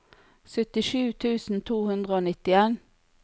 syttisju tusen to hundre og nittien